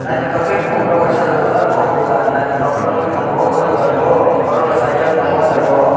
naithotok khe khumrok bai sajuk jak o dugan naithotok khe ungwi tongo o dugan bo borokrok charjon tongo o jagao.